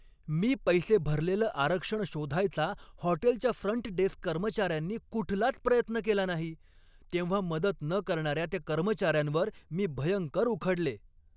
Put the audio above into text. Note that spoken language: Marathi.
मी पैसे भरलेलं आरक्षण शोधायचा हॉटेलच्या फ्रंट डेस्क कर्मचाऱ्यांनी कुठलाच प्रयत्न केला नाही तेव्हा मदत न करणाऱ्या त्या कर्मचाऱ्यांवर मी भयंकर उखडले.